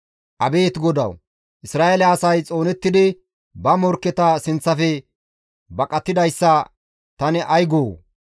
Abeet Godawu! Isra7eele asay xoonettidi ba morkketa sinththafe baqatidayssa tani ay goo?